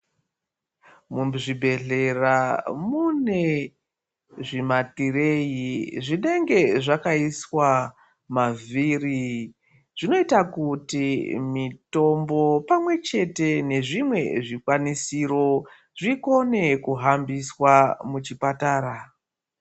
Muzvibhedhlera mune zvimatirei zvinenge zvakaiswa mavhiri zvinoita kuti mutombo pamwe chete nezviro zvikwanisiro zvikone kuhambiswa muzvipatara.